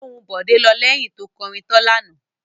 Ohùn Bọ̀dé lọ lẹ́yìn tó kọrin tọ́ lánàá.